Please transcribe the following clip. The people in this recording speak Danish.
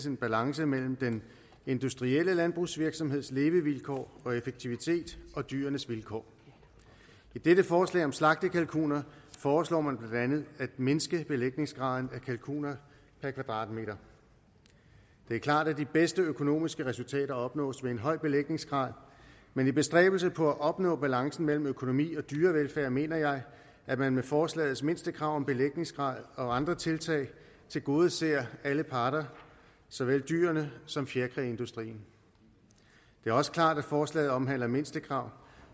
en balance mellem den industrielle landbrugsvirksomheds levevilkår og effektivitet og dyrenes vilkår i dette forslag om slagtekalkuner foreslår man blandt andet at mindske belægningsgraden af kalkuner per kvadratmeter det er klart at de bedste økonomiske resultater opnås ved en høj belægningsgrad men i bestræbelsen på at opnå balancen mellem økonomi og dyrevelfærd mener jeg at man med forslagets mindstekrav om belægningsgrad og andre tiltag tilgodeser alle parter såvel dyrene som fjerkræindustrien det er også klart at forslaget omhandler mindstekrav